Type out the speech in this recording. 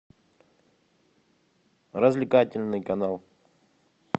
развлекательный канал